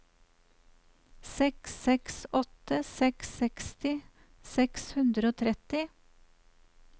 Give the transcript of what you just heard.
seks seks åtte seks seksti seks hundre og tretti